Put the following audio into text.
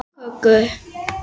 Og kökur.